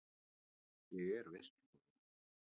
Ég er veisluborðið.